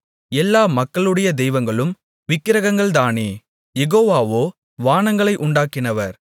எல்லா மக்களுடைய தெய்வங்களும் விக்கிரகங்கள்தானே யெகோவாவோவானங்களை உண்டாக்கினவர்